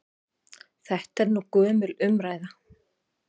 Þetta er nú gömul umræða.